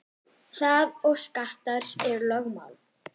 Það og skattar eru lögmál.